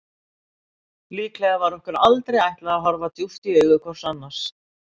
Líklega var okkur aldrei ætlað að horfa djúpt í augu hvort annars.